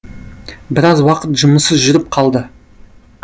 біраз уақыт жұмыссыз жүріп қалды